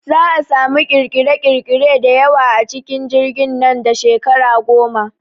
Za'a samu ƙirƙire ƙirƙire da yawa a cikin jirgin nan da shekara goma